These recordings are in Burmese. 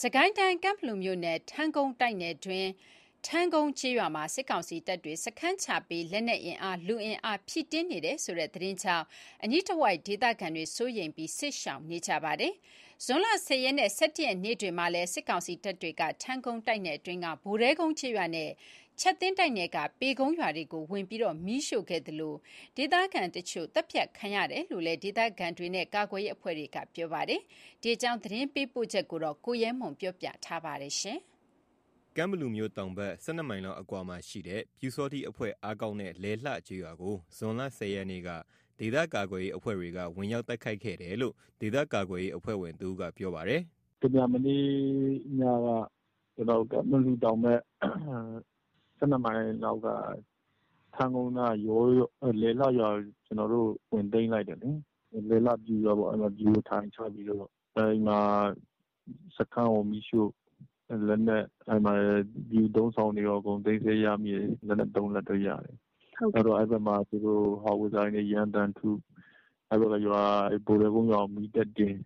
စစ်ကိုင်းတိုင်း၊ ကန့်ဘလူမြို့နယ်၊ ထန်းကုန်းတိုက်နယ်အတွင်း ထန်းကုန်းကျေးရွာမှာ စစ်ကောင်စီတပ်တွေ စခန်းချပြီး လက်နက်အင်အား၊ လူအင်အားဖြည့်တင်းနေတယ်ဆိုတဲ့သတင်းကြောင့် အနီးတဝိုက် ဒေသခံတွေ စိုးရိမ်ပြီး စစ်ရှောင်နေကြရပါတယ်။ ဇွန်လ ၁၀ ရက်နဲ့ ၁၁ ရက်နေ့တွေမှာလည်း စစ်ကောင်စီတပ်တွေက ထန်းကုန်းတိုက်နယ်အတွင်းက ဘိုတဲကုန်းကျေးရွာနဲ့ ချပ်သင်းတိုက်နယ်က ပေကုန်းရွာတွေကို ဝင်ရောက် မီးရှို့ခဲ့သလို ဒေသခံတချို့ သတ်ဖြတ်ခံရတာရှိတယ်လို့ ဒေသခံတွေနဲ့ ကာကွယ်ရေးအဖွဲ့တွေ ပြောပါတယ်။ ဒီအကြောင်းသတင်းပေးပို့ချက်ကို ကိုရဲမွန်က ပြောပြပါမယ်။ ကန့်ဘလူမြို့တောင်ဖက် ၁၂ မိုင်လောက်အကွာမှာရှိတဲ့ ပျူစောထီးအဖွဲ့ အားကောင်းတဲ့ လယ်လှကျေးရွာကို ဇွန်လ ၁၀ ရက်နေ့က ဒေသကာကွယ်ရေးအဖွဲ့တွေက ဝင်ရောက်တိုက်ခိုက်ခဲ့တယ်လို့ ဒေသကာကွယ်ရေး အဖွဲ့ဝင်တစ်ဦးက ပြောပါတယ်။ “တမြန်မနေ့ညက ကျွန်တော်တို့ ကန့်ဘလူတောင်ဖက် ၁၂ မိုင်လောက်က ထန်းကုန်းရွာနားက လယ်လှရွာကို ကျွန်တော်တို့ ဝင်သိမ်းလိုက်တယ်လေ။ လယ်လှ ပျူရွာပေါ့ အဲ့မှာ ပျူအထိုင်ချပြီးတော့။ စခန်းကိုမီးရှို့ လက်နက်နဲ့ ပျူအသုံးအဆောင်တွေရော အကုန်သိမ်းဆည်းရမိတယ်။ သေနတ် ၃ လက်တော့ ရတယ်။ နောက်တော့ သူတို့က အဲ့ဖက်မှာ ဟောင်ဝစ်ဇာတွေနဲ့ ရမ်းသမ်းထု၊ ဘိုတဲကုန်းရွာကို မီးထပ်တင်၊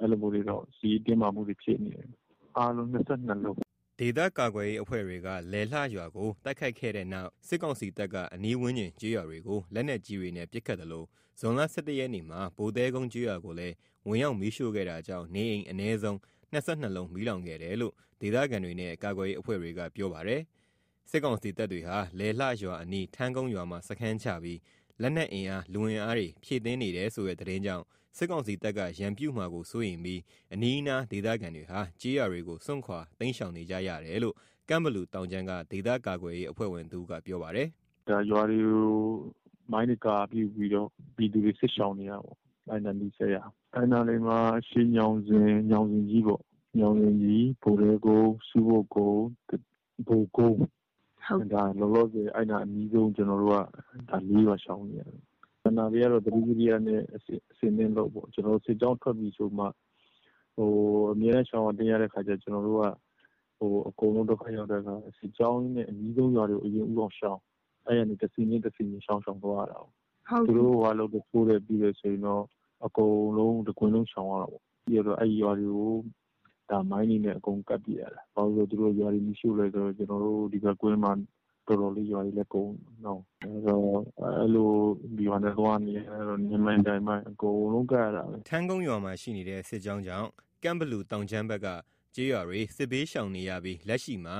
အဲ့လိုမျိုးတွေတော့ စစ်ရေးတင်းမာမှုတွေ ဖြစ်နေတယ်။ အားလုံး ၂၂ လုံး” ဒေသကာကွယ်ရေးအဖွဲ့တွေက လယ်လှပျူရွာကို တိုက်ခိုက်ခဲ့တဲ့နောက် စစ်ကောင်စီတပ်က အနီးဝန်းကျင်ကျေးရွာတွေကို လက်နက်ကြီးတွေနဲ့ ပစ်ခတ်သလို ဇွန်လ ၁၁ ရက်နေ့မှာ ဘိုတဲကုန်းကျေးရွာ ကိုလည်း ဝင်ရောက်မီးရှို့ခဲ့တာကြောင့် နေအိမ် အနည်းဆုံး ၂၂ လုံးမီးလောင်ခဲ့တယ်လို့ ဒေသခံတွေနဲ့ ကာကွယ်ရေး အဖွဲ့တွေက ပြောပါတယ်။ စစ်ကောင်စီတပ်တွေဟာ လယ်လှရွာအနီး ထန်းကုန်းရွာမှာ စခန်းချပြီး လက်နက်အင်အား လူအင်အားတွေဖြည့်တင်းနေတယ်ဆိုတဲ့သတင်းကြောင့် စစ်ကောင်စီတပ်က ရန်ပြုမှာစိုးရိမ်ပြီး အနီးအနားဒေသခံတွေဟာ ကျေးရွာစွန့်ခွာတိမ်းရှောင်နေကြတယ်လို့ ကန့်ဘလူ တောင်ခြမ်းက ဒေသကာကွယ်ရေးအဖွဲ့ဝင်တဦးက ပြောပါတယ်။ “ရွာတွေကို မိုင်းနဲ့ကာပြီးတော့ ဒေသခံတွေ စစ်ရှောင်နေကြရပြီပေါ့၊ အဲ့ဒီနဲ့ နီးစပ်ရာတွေက။ အဲ့နားလေးမှာ အရှေ့ညောင်ဇင်၊ ညောင်ဇင်ကြီးပေါ့၊ ညောင်ဇင်ကြီး၊ ဘိုတဲကုန်း၊ ဆူးပုပ်ကုန်း၊ ဘိုကုန်ုး၊ လောလောဆယ် အဲ့နား အနီးဆုံး ကျွန်တော်တို့က ၄ ရွာရှောင်နေရတယ်။ ကျန်တဲ့ရွာတွေကတော့ သတိဝီရိယနဲ့ အဆင်သင့် လုပ်ပေါ့၊ စစ်ကြောင်းထွက်ပြီဆိုမှ၊ အမြဲတမ်းရှောင်ရတိမ်းရတဲ့ခါကျတော့ ကျွန်တော်တို့က အကုန်လုံး ဒုက္ခရောက်တဲ့ခါ စစ်ကြောင်းနဲ့ အနီးဆုံးရွာတွေကို အရင်ဦးအောင်ရှောင် အဲ့ကနေ တစ်ဆင့်ချင်း တစ်ဆင့်ချင်း ရှောင်သွားရတာပေါ့။ သူတို့ စစ်ကြောင်းထိုးပြီဆိုရင်တော့ တစ်ကွင်းလုံးရှောင်ရတာပေါ့။ ပြီးကျတော့ အဲ့ဒီရွာတွေကို မိုင်းတွေနဲ့ အကုန်ကပ်ပစ်ရတယ်။ ဘာလို့ဆိုတော့ သူတို့က ရွာတွေကို မီးရှို့တော့ ကျွန်တော်တို့ ဒီဖက်ကွင်းမှာ ရွာတွေလည်း တော်တော်လေး ကုန်နေပြီးနော။ အဲ့တော့ ရွာတွေမှာ နင်းမိုင်း တိုက်မိုင်း အကုန်လုံး ကပ်ရတာပဲ။” ထန်းကုန်ရွာမှာ ရှိနေတဲ့ စစ်ကြောင်းကြောင့် ကန့်ဘလူတောင်ခြမ်းဖက်က ကျေးရွာတွေစစ်ဘေးရှောင် နေရပြီး လက်ရှိမှာ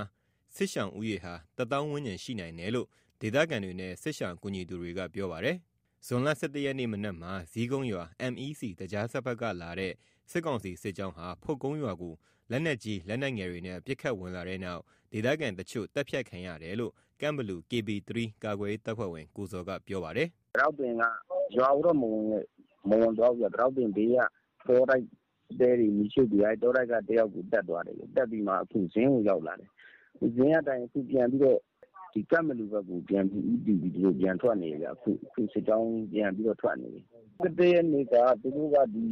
စစ်ရှောင်ဦးရေဟာ ၁၀၀၀၀ ဝန်းကျင် ရှိနိုင်တယ်လို့ ဒေသခံတွေနဲ့ စစ်ရှောင် ကူညီသူတွေကပြောပါတယ်။ ဇွန်လ ၁၁ ရက်နေ့မနက်မှာ ဇီးကုန်းရွာ MEC သကြားစက်ဖက်က လာတဲ့ စစ်ကောင်စီ စစ်ကြောင်းဟာ ဖုတ်ကုန်းရွာကို လက်နက်ကြီးလက်နက်ငယ်တွေနဲ့ ပစ်ခတ်ဝင်လာတဲ့နောက် ဒေသခံတချို့ သတ်ဖြတ် ခံရတယ်လို့ ကန့်ဘလူ KB 3 ကာကွယ်ရေး တပ်ဖွဲ့ဝင် ကိုဇော်က ပြောပါတယ်။ “ပိတောက်ပင်ကို ရွာကိုတော့ မဝင်သွားဘူးဗျ၊ ဘေးက တဲတွေကိုမီးရှို့ပြီး အဲ့ဒီ တောတိုက်က တစ်ယောက်ကို သတ်သွားတယ်ဗျ။ သတ်ပြီးမှ ဇင်းကို ရောက်လာတယ်။ ဇင်းကနေ အခုပြန်ပြီးတော့ ကန့်ဘလူဖက်ကို ဦးတည်ပြီးပြန်ထွက်နေတယ်ဗျ။ အခု စစ်ကြောင်းပြန်ပြီးတော့ ထွက်နေပြီ။ ၁၁ ရက်နေ့ကသူတို့ဒီ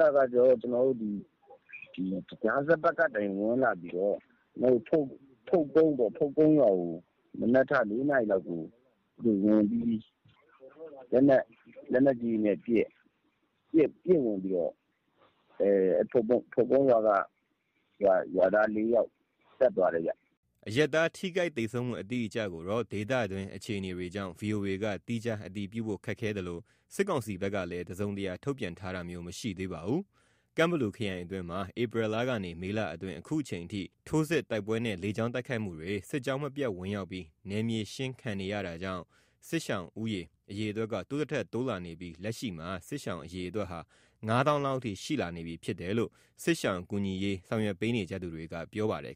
သကြားစက်ဖက်ကနေ ဝင်လာပြီးတော့ ဖုတ်ကုန်းရွာကို မနက် ၄ နာရီလောက်ကို ဝင်ပြီးလက်နက်ကြီး တွေနဲ့ပစ် ဝင်ပြီးတော့ ဖုန်ကုန်းရွာက ရွာသား ၄ ယောက်ကို သတ်သွားတယ်ဗျ။” အရပ်သားထိခိုက်သေဆုံးမှုအတိအကျကိုတော့ ဒေသတွင်းအခြေအနေကြောင့် ဗွီအိုအေက သီးခြား အတည်ပြုဖို့ ခက်ခဲသလို၊ စစ်ကောင်စီဖက်ကလည်း တစုံတရာ ထုတ်ပြန်တာမျိုးမရှိသေးပါဘူး။ ကန့်ဘလူခရိုင်အတွင်းမှာ ဧပြီလကနေ မေလအတွင်း အခုအချိန်ထိ ထိုးစစ်၊ တိုက်ပွဲနဲ့ လေကြောင်း တိုက်ခိုက်မှုတွေ၊ စစ်ကြောင်းမပြတ်ဝင်ရောက်ပြီး နယ်မြေရှင်းခံနေရတာကြောင့် စစ်ဘေးရှောင် ဦးရေ အရေအတွက် တိုးသထက်တိုးလာနေသလို လက်ရှိမှာ စစ်ရှောင်အတွက်ဟာ ၅၀၀၀၀ လောက်အထိ ရှိလာနေပြီဖြစ်တယ်လို့ စစ်ရှောင်ကူညီရေး ဆောင်ရွက်ပေးနေကြသူတွေက ပြောပါတယ်